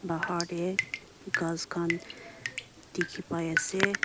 bahar te ghass khan dikhi pai ase.